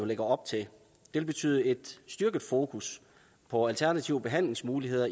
lægger op til vil betyde et styrket fokus på alternative behandlingsmuligheder